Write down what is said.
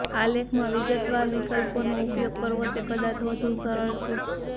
આ લેખમાં વિગતવાર વિગતવાર વિકલ્પોનો ઉપયોગ કરવો તે કદાચ વધુ સરળ છે